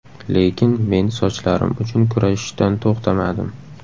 Lekin men sochlarim uchun kurashishdan to‘xtamadim.